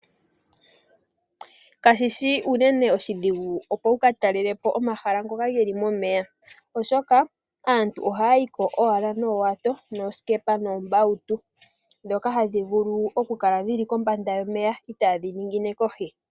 Kashishi unene oshidhigu opo wuka talelepo omahala ngoka geli momeya oshoka aantu oha yiko owala noowata noosikepa nombawutu dhoka hadhi vulu oku kala dhili kombanda yomeya itaadhi ningine kohi.